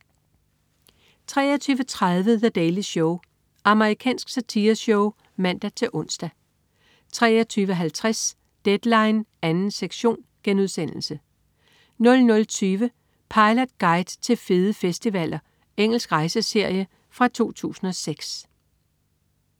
23.30 The Daily Show. Amerikansk satireshow (man-ons) 23.50 Deadline 2. sektion* 00.20 Pilot Guide til fede festivaler. Engelsk rejseserie fra 2006